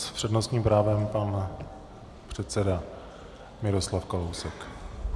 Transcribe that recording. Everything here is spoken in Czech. S přednostním právem pan předseda Miroslav Kalousek.